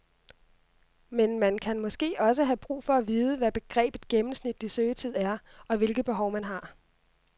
Men man kan måske også have brug for at vide, hvad begrebet gennemsnitlig søgetid er og hvilke behov, man har.